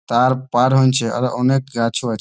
তার পার হৈনছে আর অনেক গাছ ও আছে।